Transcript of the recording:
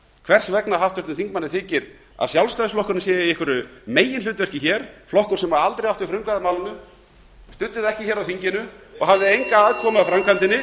hvers vegna háttvirtum þingmanni finnst að sjálfstæðisflokkurinn sé í einhverju meginhlutverki hér flokkur sem aldrei átti frumkvæði að málinu studdi það ekki hér á þinginu og hafði enga aðkomu að framkvæmdinni